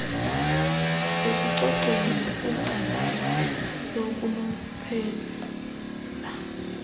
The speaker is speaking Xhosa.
ekucoceni nakwincandelo lokunonophela